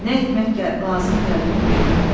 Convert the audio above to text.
Nə etmək lazım gəldiyini bilmirdi.